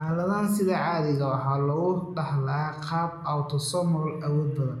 Xaaladdan sida caadiga ah waxaa lagu dhaxlaa qaab autosomal awood badan.